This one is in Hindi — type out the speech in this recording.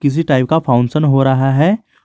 किसी टाइप का फंक्शन हो रहा है।